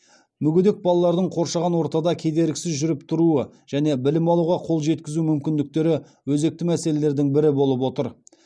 мүгедек балалардың қоршаған ортада кедергісіз жүріп тұруы және білім алуға қол жеткізу мүмкіндіктері өзекті мәселелердің бірі болып отыр